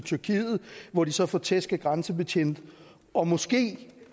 tyrkiet hvor de så får tæsk af grænsebetjente og måske